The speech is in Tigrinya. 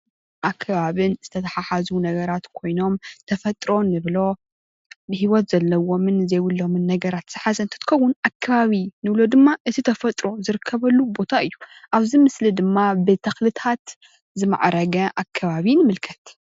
ኣከባብን ዝተተሓዙ ነገራት ኮይኖም ተፈጥሮ እንብሎ ንሂወት ዘለዎም ዘይብሎምን ነገራት ዝሓዘ እንትኮን ኣከባቢ ንብሎ ድማ እቲ ተፈጥሮ ዝርከበሉ ቦታ እዩ ።ኣብዚ ምስሊ ድማ ብተኽልታት ዝማዕረገ ኣከባቢ ንምልከት።